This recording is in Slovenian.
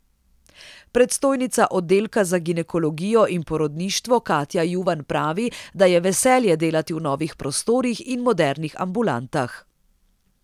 Predstojnica oddelka za ginekologijo in porodništvo Katja Juvan pravi, da je veselje delati v novih prostorih in modernih ambulantah.